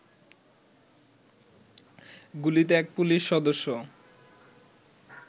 গুলিতে এক পুলিশ সদস্য